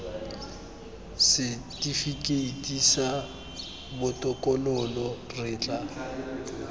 setifikeiti sa botokololo re tla